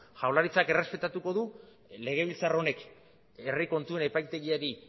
jaurlaritzak errespetatuko du legebiltzar honek herri kontuen epaitegiari